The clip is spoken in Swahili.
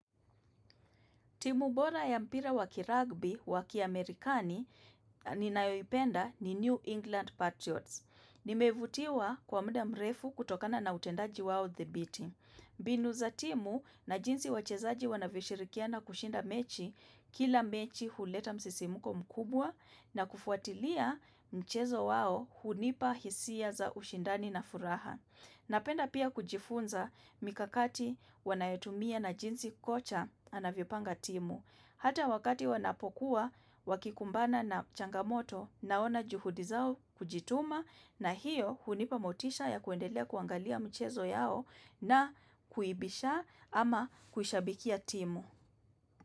Timu bora ya mpira wakiragbi wakiamerikani ninayoipenda ni New England Patriots. Nimevutiwa kwa muda mrefu kutokana na utendaji wao thabiti. Binu za timu na jinsi wachezaji wanavyoshirikiana kushinda mechi kila mechi huleta msisimuko mkubwa na kufuatilia mchezo wao hunipa hisia za ushindani na furaha. Napenda pia kujifunza mikakati wanayoitumia na jinsi kocha anavyopanga timu. Hata wakati wanapokuwa wakikumbana na changamoto naona juhudi zao kujituma na hiyo hunipamotisha ya kuendelea kuangalia mchezo yao na kuibisha ama kuishabikia timu.